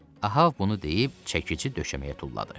Ahav bunu deyib, çəkici döşəməyə tulladı.